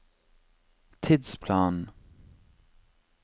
tidsplanen